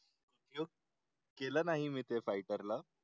केलं नाही मि ते फायटरला